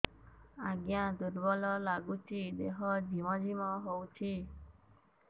ଆଜ୍ଞା ଦୁର୍ବଳ ଲାଗୁଚି ଦେହ ଝିମଝିମ ହଉଛି